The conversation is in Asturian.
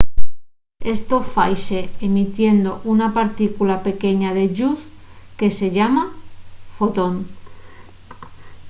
esto faise emitiendo una partícula pequeña de lluz que se llama fotón